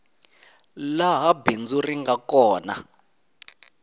laha bindzu ri nga kona